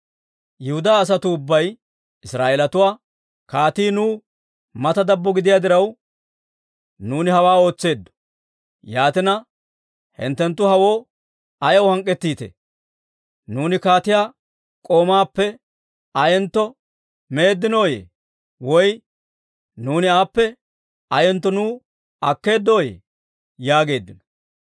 Yihudaa asatuu ubbay Israa'eelatuwaa, «Kaatii nuw mata dabbo gidiyaa diraw, nuuni hawaa ootseeddo; yaatina, hinttenttu hewoo ayaw hank'k'ettite? Nuuni kaatiyaa k'umaappe ayentto meeddinooyye? Woy nuuni aappe ayentto nuw akkeeddoyye?» yaageeddino.